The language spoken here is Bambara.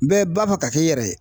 Bɛɛ b'a fɔ ka kɛ i yɛrɛ ye